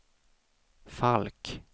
Falk